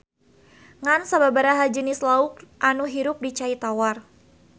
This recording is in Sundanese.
Ngan sababaraha jenis lauk anu hirup di cai tawar